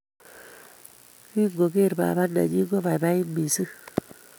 Kingogeer baba nenyi kobaibait mising